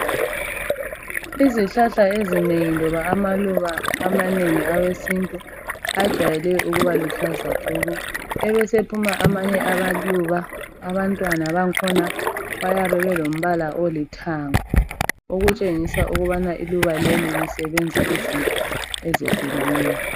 Izihlahla ezinengi loba amaluba amanengi awesintu ajwayele ukuba luhlaza tshoko. Ebe esephuma amanye amaluba abantwana bakhona bayabe belombala olithanga, okutshengisa ukubana iluba leli lisebenza izinto ezehlukeneyo.